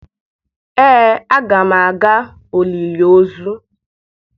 ee aga m aga olili